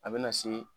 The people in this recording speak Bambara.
A bɛ na se